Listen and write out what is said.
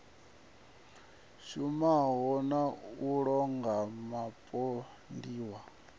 shumaho na u londa vhapondiwa